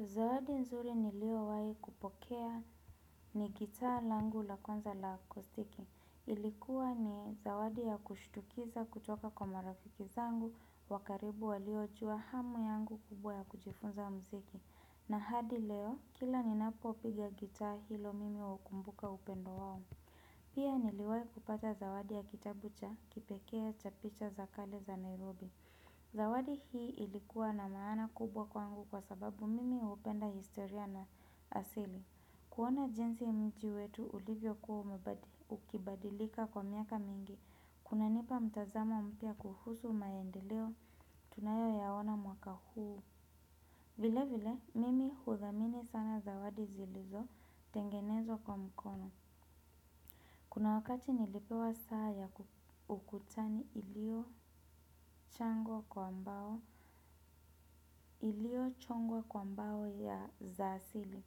Zawadi nzuri niliyowahi kupokea ni gitaa langu la kwanza la kustiki. Ilikuwa ni zawadi ya kushutukiza kutoka kwa marafiki zangu, wa karibu waliojua hamu yangu kubwa ya kujifunza muziki. Na hadi leo kila ninapo piga gitaa hilo mimi hukumbuka upendo wao. Pia niliwahi kupata zawadi ya kitabu cha kipekee cha picha za kale za Nairobi. Zawadi hii ilikuwa na maana kubwa kwangu kwa sababu mimi hupenda historia na asili. Kuona jinsi mji wetu ulivyokuwa ukibadilika kwa miaka mingi. Kuna nipa mtazamo mpya kuhusu maendeleo tunayo yaona mwaka huu. Vile vile mimi hudhamini sana zawadi zilizo tengenezwa kwa mkono. Kuna wakati nilipewa saa ya ukutani ilio changwa kwa mbao, ilio chongwa kwa mbao ya za asili.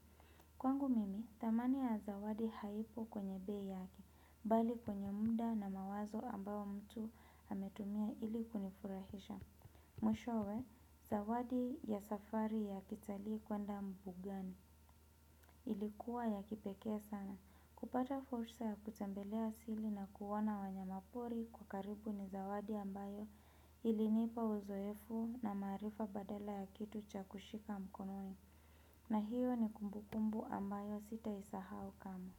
Kwangu mimi, thamani ya zawadi haipo kwenye bei yake, bali kwenye muda na mawazo ambao mtu ametumia ili kunifurahisha. Mwishowe zawadi ya safari ya kitalii kwenda mbugani ilikuwa ya kipekee sana. Kupata fursa ya kutembelea asili na kuona wanyamapori kwa karibu ni zawadi ambayo ilinipa uzoefu na maarifa badala ya kitu cha kushika mkononi. Na hiyo ni kumbukumbu ambayo sitaisahau kamwe.